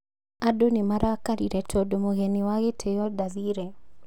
Andũ nĩmarakarire tondũ mũgeni wa gĩtĩo ndathire